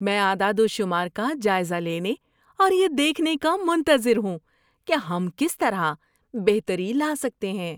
میں اعداد و شمار کا جائزہ لینے اور یہ دیکھنے کا منتظر ہوں کہ ہم کس طرح بہتری لا سکتے ہیں۔